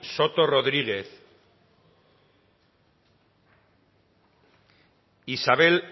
soto rodríguez isabel